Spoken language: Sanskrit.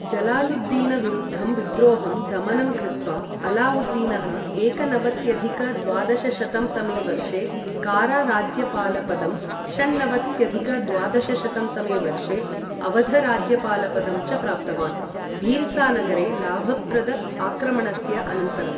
जलालुद्दीनविरुद्धं विद्रोहं दमनं कृत्वा अलाउद्दीनः एकनवत्यधिक द्वादशशतं तमे वर्षे कारा राज्यपालपदं, षण्णवत्यधिक द्वादशशतं तमे वर्षे अवध राज्यपालपदं च प्राप्तवान्, भील्सा नगरे लाभप्रद आक्रमणस्य अनन्तरं